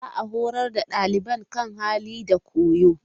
Za a horar da xaliban kan hali da koyo.